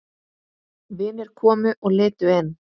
Vinir komu og litu inn.